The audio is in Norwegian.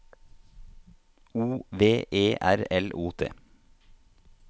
O V E R L O T